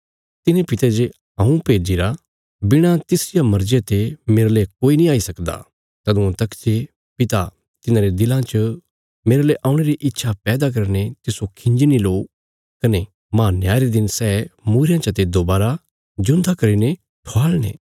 तिने पिते जे हऊँ भेज्जिरा बिणा तिसरिया मर्जिया ते मेरले कोई नीं आई सकदा तदुआं तक जे पिता तिसरे दिला च मेरले औणे री इच्छा पैदा करीने तिस्सो खिंजी नीं लो कने माह न्याय रे दिन सै मूईरयां चते दोबारा जिऊंदा करीने ठवाल़णे